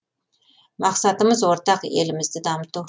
мақсатымыз ортақ елімізді дамыту